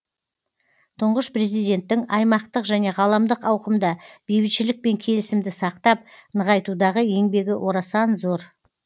тұңғыш президенттің аймақтық және ғаламдық ауқымда бейбітшілік пен келісімді сақтап нығайтудағы еңбегі орасан зор